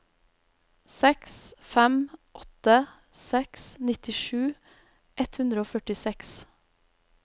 seks fem åtte seks nittisju ett hundre og førtiseks